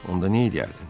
Onda nə eləyərdin?